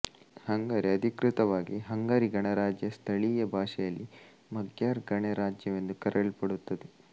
Hungary ಅಧಿಕೃತವಾಗಿ Hungary ಗಣರಾಜ್ಯ ಸ್ಥಳೀಯ ಭಾಷೆಯಲ್ಲಿ ಮಗ್ಯಾರ್ ಗಣರಾಜ್ಯವೆಂದು ಕರೆಯಲ್ಪಡುತ್ತದೆ